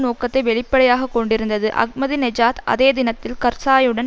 நோக்கத்தை வெளிப்படையாக கொண்டிருந்தது அஹ்மதிநெஜாத் அதே தினத்தில் கர்சாயுடன்